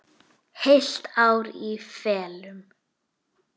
Heilt ár í felum.